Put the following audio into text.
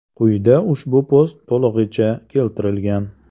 Quyida ushbu post to‘lig‘icha keltirilgan.